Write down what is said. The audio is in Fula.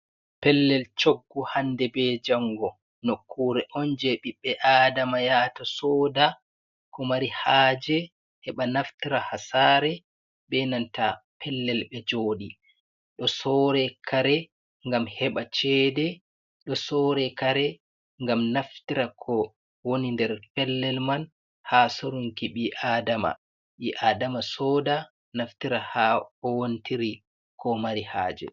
Pellel coggu hande be jango, nokkure on je ɓiɓɓe adama yata soda ko mari haje heɓa naftira hasare be nanta pellel ɓe joɗi, do sore kare gam heɓa cede, do sore kare gam naftira ko woni nder pellel man ha sorunki ɓi adama, ɓi adama soda naftira ha kowontiri ko mari haje.